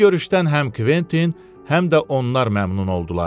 Bu görüşdən həm Kventin, həm də onlar məmnun oldular.